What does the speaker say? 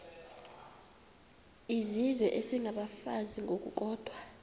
izizwe isengabafazi ngokukodwa